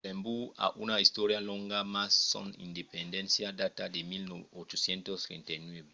luxemborg a una istòria longa mas son independéncia data de 1839